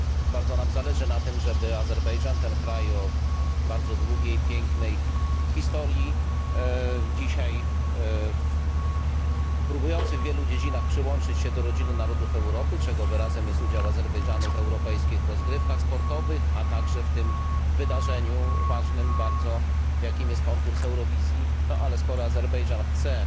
Bardzo nam zależy na tym, żeby Azerbejdżan, kraj o bardzo długiej i pięknej historii, który próbuje w wielu dziedzinach przyłączyć się do rodziny narodów Europy, czego wyrazem jest udział Azerbejdżanu w europejskich rozgrywkach sportowych, a także w tym bardzo ważnym wydarzeniu, jakim jest konkurs Eurowizji Ale skoro Azerbejdżan chce